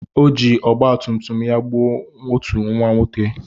O ji ọgbatumtum ya gbuo otu nwata nwoke.